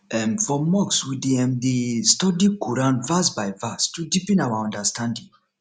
um for mosque we dey um dey um study quran verse by verse to deepen our understanding